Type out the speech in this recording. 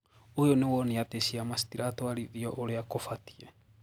Uyu ni wonia ati ciama citiratuarithio uria kubatie